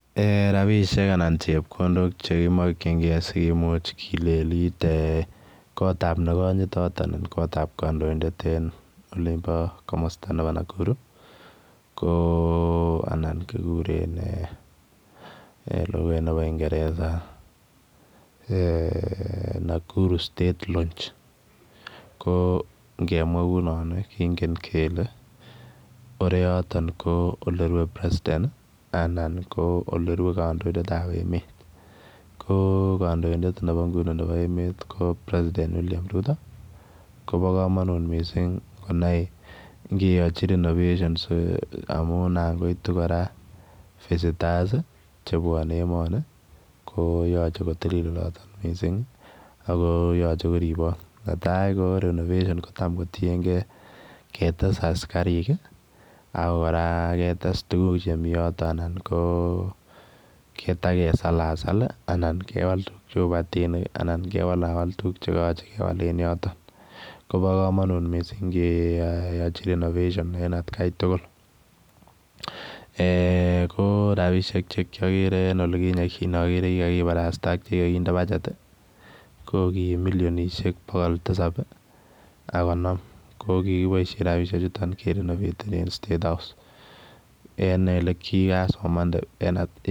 Eeh rapinik anan chepkondok chekimokyin sikimuch kileliti ee kotab nekoyitot anan kotab kandoindet en olimbo komosta ne bo Nakuru ,koo anan kikure en lukait nebo kingeresa eeh Nakuru state launch koo ngemwa kou non ii kingen kele oreyoton koo olerwe president ii anan koo olerwe kandoindetab emet, koo kandoindet nebo nguni ne bo emet ko preseident William Ruto kobokomonut missing konaik ngeyochi renovation si amun nangoitu kora visitors ii chebwone emoni koo yoche kotilil missing oloto akoo yoche koripot netai ko renovation kotamkotiengee ketes askarik ii, ak kora ketes tuguk chemi yoton anan koo kotakesalasal anan kewal tuguk cheu kibatinik anan kewalawal tuguk chekoyoche kewal en yoton, kobo kamonut missing ngeyochi renovation en atkai tugul eeh ko rapisiek chekiokere en olikinye kikokere kikakiparasta ak chekikokinde budget ko ki milionishek bogol tisab ak konom kokikiboisien rapisiechuton kerinovatenen state house en elekikasomande en at.